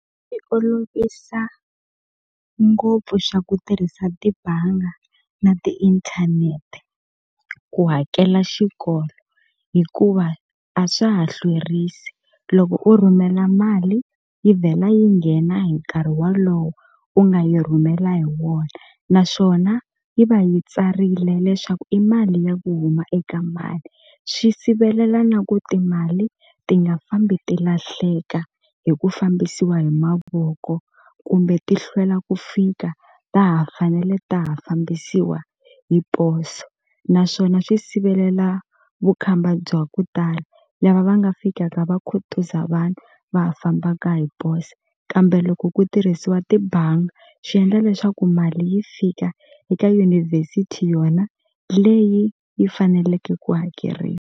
olovisa ngopfu xa ku tirhisa tibanga na tiinthanete ku hakela xikolo hikuva a swa ha hlwerisi loko u rhumela mali yi vhela yi nghena hi nkarhi walowo u nga yi rhumela hi wona naswona yi va yi tsarile leswaku i mali ya ku huma eka mani swi sivelela na ku timali ti nga fambi ti lahleka hi ku fambisiwa hi mavoko kumbe ti hlwela ku fika ta ha fanele ta ha fambisiwa hi poso naswona swi sivelela vukhamba bya ku tala lava va nga fikaka va khutuza vanhu va ha fambaka hi poso kambe loko ku tirhisiwa tibanga swi endla leswaku mali yi fika eka university yona leyi yi faneleke ku hakeriwa.